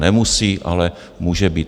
Nemusí, ale může být.